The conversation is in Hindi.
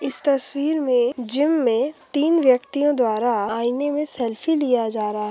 इस तस्वीर में जिम में तीन व्यक्तियों द्वारा आईने में सेल्फ़ी लिया जा रहा है।